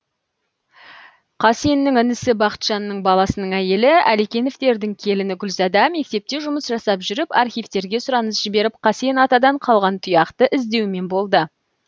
қасеннің інісі бақытжанның баласының әйелі әлекеновтердің келіні гүлзада мектепте жұмыс жасап жүріп архивтерге сұраныс жіберіп қасен атадан қалған тұяқты іздеумен болды